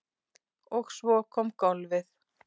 Og svo kom golfið.